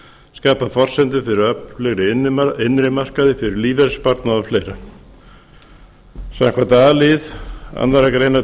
skapa forsendur fyrir öflugri innri markaði fyrir lífeyrissparnað og fleira samkvæmt a lið annarrar greinar